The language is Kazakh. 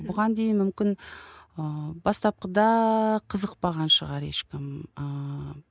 бұған дейін мүмкін ііі бастапқыда қызықпаған шығар ешкім ііі